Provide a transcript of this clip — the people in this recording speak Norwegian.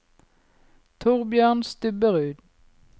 Thorbjørn Stubberud